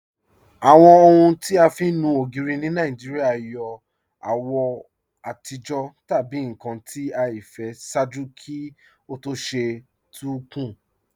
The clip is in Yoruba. Awọn ọhun ti a fi nú ogiri ni Nigeria yọ awọ atijọ tabi nkan ti aifẹ ṣaaju kí o tó ṣe tun kun.